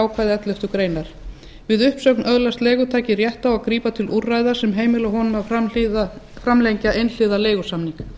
ákvæði elleftu grein við uppsögn öðlast leigutaki rétt á að grípa til úrræða sem heimila honum að framlengja einhliða leigusamning